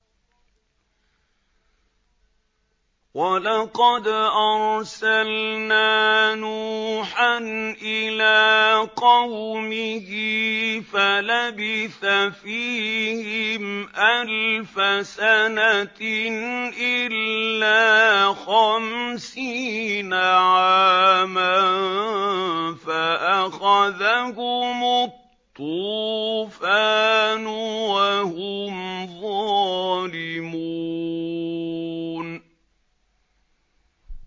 وَلَقَدْ أَرْسَلْنَا نُوحًا إِلَىٰ قَوْمِهِ فَلَبِثَ فِيهِمْ أَلْفَ سَنَةٍ إِلَّا خَمْسِينَ عَامًا فَأَخَذَهُمُ الطُّوفَانُ وَهُمْ ظَالِمُونَ